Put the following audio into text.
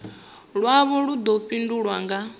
lwavho lu ḓo fhindulwa nga